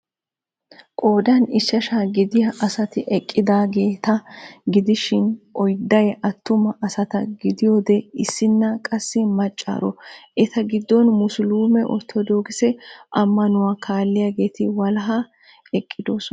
Qoodan ichchaashsha gidiyaa asati eqqidaageta gidishin oydday attuma asata gidiyoode issinna qassi maccaaro. Eta giddon musulumee orttoodokisee amanuwaa kaalliyaageti walahan eqqidosona.